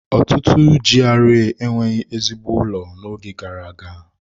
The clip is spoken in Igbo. Ọtụtụ GRA enweghị ezigbo ụlọ n'oge gara aga.